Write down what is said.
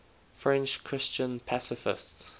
french christian pacifists